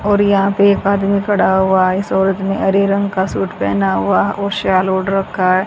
और यहां पे एक आदमी खड़ा हुआ है इस औरत ने हरे रंग का शूट पेहना हुआ और साल ओढ़ रखा है।